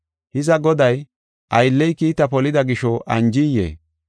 Hiza, goday, aylley kiita polida gisho anjiyee?